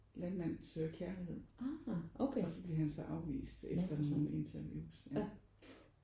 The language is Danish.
Landmand søger kærlighed og så bliver han så afvist efter nogle interviews ja